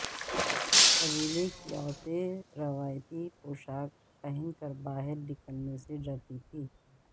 قبیلے کی عورتیں روایتی پوشاک پہن کر باہر نکلنے سے ڈرتی تھیں